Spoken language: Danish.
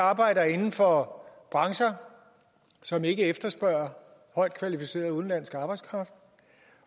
arbejder inden for brancher som ikke efterspørger højtkvalificeret udenlandsk arbejdskraft